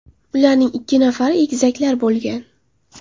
Ularning ikki nafari egizaklar bo‘lgan.